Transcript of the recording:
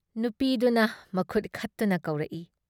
ꯅꯨꯄꯤꯗꯨꯅ ꯃꯈꯨꯠ ꯈꯠꯇꯨꯅ ꯀꯧꯔꯛꯏ ꯫